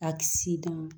A kisi dama